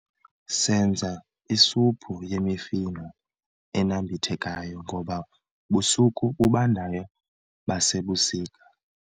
senza isuphu yemifuno enambithekayo ngoba busuku bubandayo basebusika